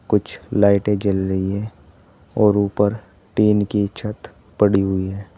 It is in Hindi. कुछ लाइटें जल रही हैं और ऊपर टीन कि छत पड़ी हुई है।